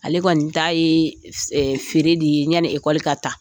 Ale kɔni ta ye feere de yani ekɔli ka ta.